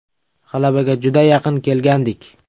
G‘alabaga juda yaqin kelgandik.